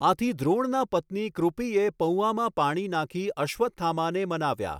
આથી દ્રોણનાં પત્ની કૃપિએ પૌઆમાં પાણી નાખી અશ્વત્થામાને મનાવ્યા.